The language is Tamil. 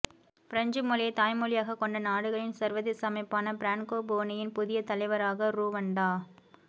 பிரெஞ்சு மொழியை தாய்மொழியாக கொண்ட நாடுகளின் சர்வதேச அமைப்பான பிரான்கோபோனியின் புதிய தலைவராக ருவாண்டா